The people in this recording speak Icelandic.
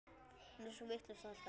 Hún er svo vitlaus alltaf.